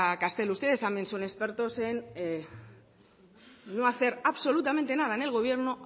castelo ustedes también son expertos en no hacer absolutamente nada en el gobierno